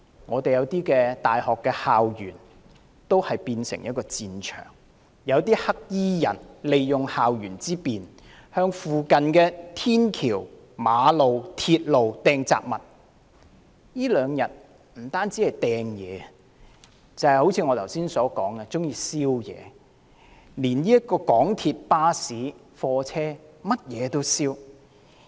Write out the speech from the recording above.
部分大學校園亦變成戰場，黑衣人利用校園之便，向附近天橋、馬路、鐵路投擲雜物，這兩天除擲物之外，更一如我剛才所說縱火，港鐵、巴士、貨車等全都遭殃。